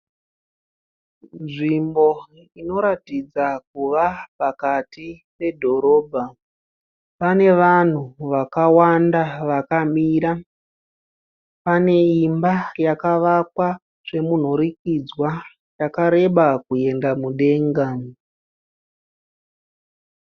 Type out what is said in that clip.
Nzvimbo inoratidza kuva pakati pedhorobha. Pane vanhu vakawanda vakamira. Pane imba yakavakwa zvemunhurikidzwa yakareba kuyenda mudenga.